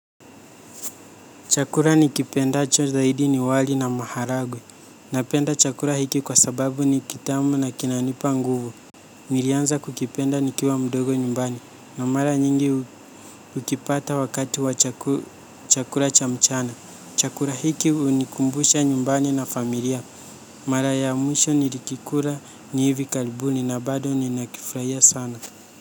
Chakula nikipendacho zaidi ni wali na maharagwe. Napenda chakula hiki kwa sababu ni kitamu na kina nipa nguvu. Nilianza kukipenda nikiwa mdogo nyumbani. Na mara nyingi hukipata wakati wa chakula cha mchana. Chakura hiki unikumbusha nyumbani na familia. Mara ya mwisho nilikikula ni hivi karibuni na bado nina kifurahia sana.